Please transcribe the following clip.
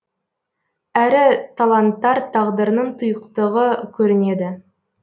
әрі таланттар тағдырының тұйықтығы көрінеді